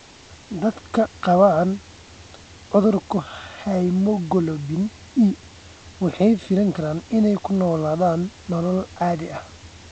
Dadka qaba cudurka hemoglobin E waxay filan karaan inay ku noolaadaan nolol caadi ah.